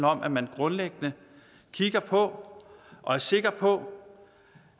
om at man grundlæggende kigger på og er sikker på